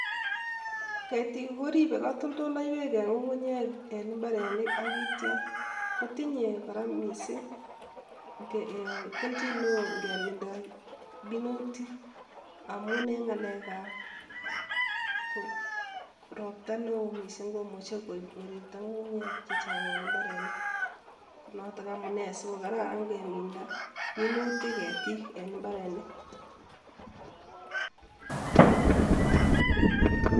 Ketik koribe katoltoloywek eng ng'ung'unyek eng imbarenik ak kitya kotinye kora missing keljin neo ngeminda minutik amun eng ng'alekab ropta neo missing komuchei koib ng'irikto ng'ung'unyek chechang eng mbarenik. Notok amune si kokararan keminda minutik ketik eng mbarenik.